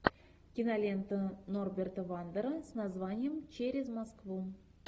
кинолента норберта вандера с названием через москву